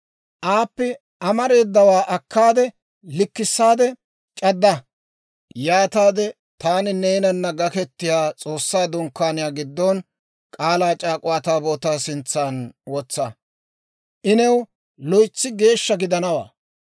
Aappe amareedawaa akkaade liik'issaade c'adda; yaataade taani neenana gaketiyaa S'oossaa Dunkkaaniyaa giddon K'aalaa c'aak'uwaa Taabootaa sintsan wotsa. I new loytsi geeshsha gidanawaa.